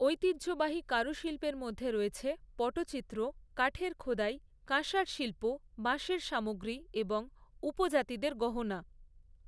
ঐতিহ্যবাহী কারুশিল্পের মধ্যে রয়েছে পটচিত্র, কাঠের খোদাই, কাঁসার শিল্প, বাঁশের সামগ্রী এবং উপজাতিদের গহনা।